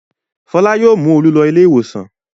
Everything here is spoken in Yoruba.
Fọlá yóò mú Olú lọ ilé-ìwòsàn.